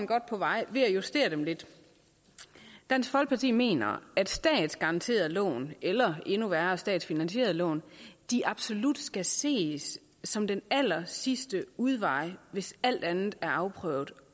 godt på vej ved at justere dem lidt dansk folkeparti mener at statsgaranterede lån eller endnu værre statsfinansierede lån absolut skal ses som den allersidste udvej hvis alt andet er afprøvet